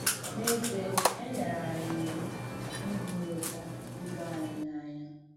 N’èzíè, è nyèrè ànyị̣ ìwù ‘ìhúrụ̀tà ìbè ànyị̣ n’ànyà.’